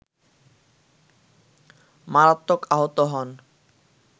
মারাত্মক আহত হন